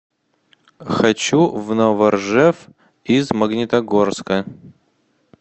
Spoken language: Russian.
хочу в новоржев из магнитогорска